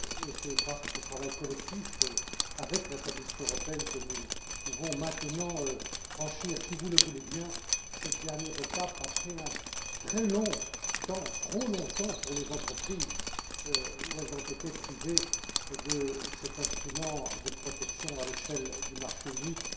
C'est grâce à ce travail collectif, avec la Commission européenne, que nous pouvons maintenant franchir, si vous le voulez bien, cette dernière étape après un très long trop long temps pour les entreprises durant lequel elles ont été privées de cet instrument de protection à l'échelle du marché unique.